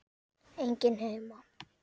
Enginn heima!